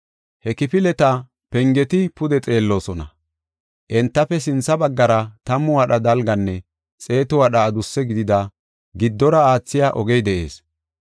He kifileta pengeti pude xeelloosona. Entafe sintha baggara tammu wadha dalganne xeetu wadha adusse gidida giddora aathiya ogey de7ees.